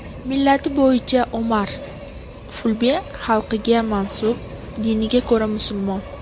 Millati bo‘yicha Omar fulbe xalqiga mansub, diniga ko‘ra musulmon.